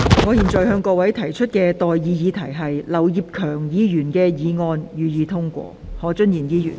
我現在向各位提出的待議議題是：劉業強議員動議的議案，予以通過。